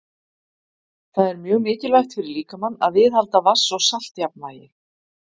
Það er mjög mikilvægt fyrir líkamann að viðhalda vatns- og saltjafnvægi.